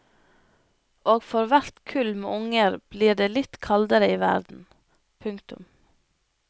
Og for hvert kull med unger blir det litt kaldere i verden. punktum